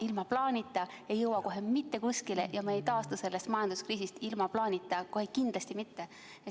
Ilma plaanita ei jõua mitte kuskile ja ilma plaanita ei taastu me sellest majanduskriisist kohe kindlasti mitte.